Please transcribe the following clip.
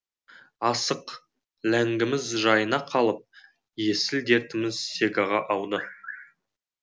асық ләңгіміз жайына қалып есіл дертіміз сегаға ауды